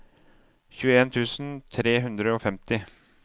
tjueen tusen tre hundre og femti